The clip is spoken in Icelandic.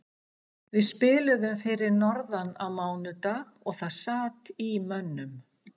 Við spiluðum fyrir norðan á mánudag og það sat í mönnum.